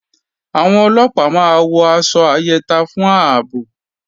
Àwọn Ọlọ́pàá máa wọ aṣọ ayẹta fún ààbò